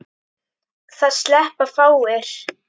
Það sleppa fáir.